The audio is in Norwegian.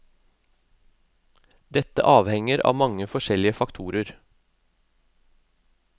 Dette avhenger av mange forskjellige faktorer.